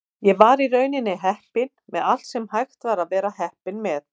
Ég var í rauninni heppinn með allt sem hægt var að vera heppinn með.